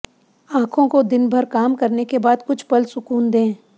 आंखों को दिन भर काम करने के बाद कुछ पल सुकून दे